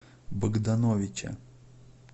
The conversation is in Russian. богдановича